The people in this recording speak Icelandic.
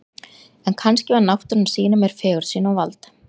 En kannski var náttúran að sýna mér fegurð sína og vald.